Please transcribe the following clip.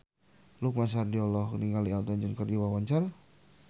Lukman Sardi olohok ningali Elton John keur diwawancara